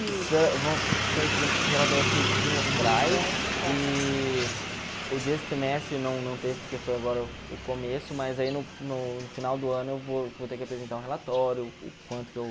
relatórios tri trimestrais e o desse trimestre não não teve porque foi agora o começo, mas aí no no final do ano eu vou vou ter que apresentar um relatório, o quanto que eu...